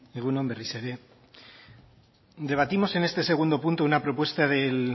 egun on berriz ere debatimos en este segundo punto una propuesta del